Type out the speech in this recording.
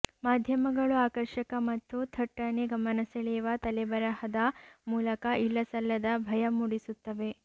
ಮಾಧ್ಯಮಗಳು ಆಕರ್ಷಕ ಮತ್ತು ಥಟ್ಟನೆ ಗಮನ ಸೆಳೆಯುವ ತಲೆಬರಹದ ಮೂಲಕ ಇಲ್ಲಸಲ್ಲದ ಭಯ ಮೂಡಿಸುತ್ತವೆ